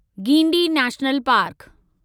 Guindy national park